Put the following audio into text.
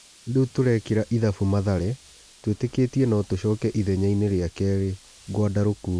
"Rĩ u turekĩ ra ithabu Mathare, twĩ tĩ kĩ tie no tũcoke ithenyainí rĩ a kerĩ ," Gwandarũ kuuga.